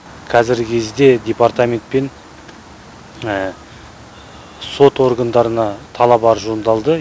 қазіргі кезде департаментпен сот органдарына талап арыз жолданды